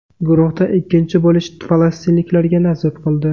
Guruhda ikkinchi bo‘lish falastinliklarga nasib qildi.